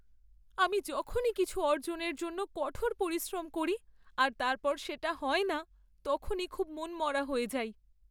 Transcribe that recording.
আমি যখনই কিছু অর্জনের জন্য কঠোর পরিশ্রম করি আর তারপর সেটা হয় না, তখনই খুব মনমরা হয়ে যাই।